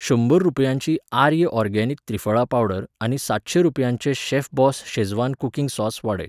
शंबर रुपयांची Arya organic triphala powder आनी सातशें रुपयांचें शेफबॉस शेझवान कुकिंग सॉस वाडय.